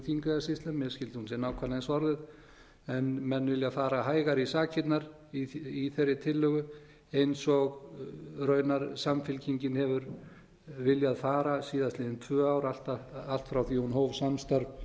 þingeyjarsýslum mér skilst að hún sé nákvæmlega eins orðuð en menn vilja aðra hægar í sakirnar í þeirri tillögu eins og raunar samfylkingin hefur viljað fara síðastliðin tvö ár allt frá því hún hóf samstarf